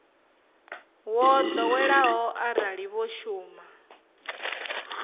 wo ḓoweleaho arali vho shuma